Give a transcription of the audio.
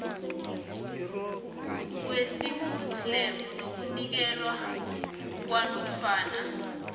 wesimuslimu nokunikelwa kwanofana